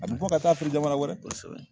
A bɛ bɔ ka taa feere jamana wɛrɛ kosɛbɛ